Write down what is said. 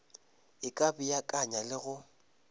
e ka beakanya le go